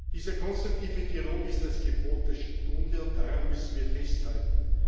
Dieser konstruktive Dialog ist das Gebot der Stunde, und daran müssen wir festhalten.